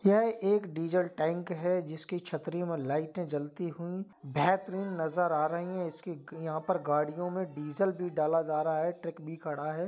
यह एक diesel tank है। जिसकी छतरी में लाइटें जलती हुई बेहतरीन नजर आ रही है। इसकी यहाँ पर गाडियों मे डीजल भी डाला जा रहा है। ट्रक भी खड़ा है।